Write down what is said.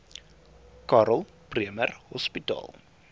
karl bremer hospitaal